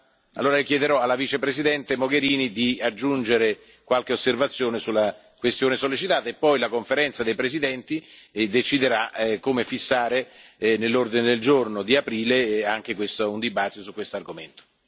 Allora chiederò alla Vicepresidente Mogherini di aggiungere qualche osservazione sulla questione sollecitata e poi la Conferenza dei presidenti deciderà come fissare, nell'ordine del giorno di aprile, anche un dibattito su questo argomento.